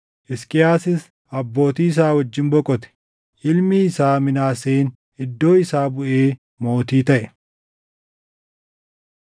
Hisqiyaasis abbootii isaa wajjin boqote. Ilmi isaa Minaaseen iddoo isaa buʼee mootii taʼe.